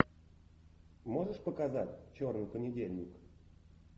можешь показать черный понедельник